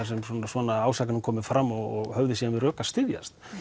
sem svona ásakanir komu fram og höfðu síðan við rök að styðjast